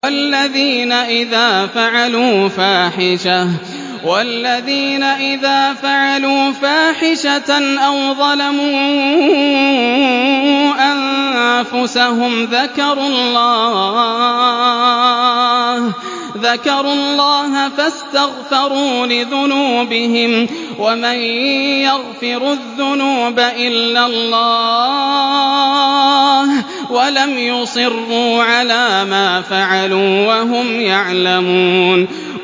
وَالَّذِينَ إِذَا فَعَلُوا فَاحِشَةً أَوْ ظَلَمُوا أَنفُسَهُمْ ذَكَرُوا اللَّهَ فَاسْتَغْفَرُوا لِذُنُوبِهِمْ وَمَن يَغْفِرُ الذُّنُوبَ إِلَّا اللَّهُ وَلَمْ يُصِرُّوا عَلَىٰ مَا فَعَلُوا وَهُمْ يَعْلَمُونَ